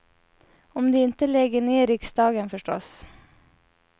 Om de inte lägger ner riksdagen förstås.